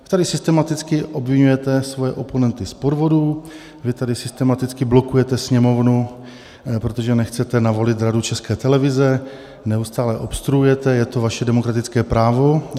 Vy tady systematicky obviňujete svoje oponenty z podvodů, vy tady systematicky blokujete Sněmovnu, protože nechcete navolit Radu České televize, neustále obstruujete, je to vaše demokratické právo.